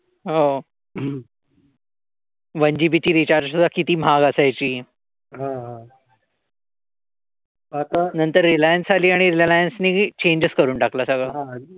One GB ची recharge सुद्धा किती महाग असायच नंतर रिलायन्स आली आणि रिलायन्स ने चेंजच करून टाकल सगळ.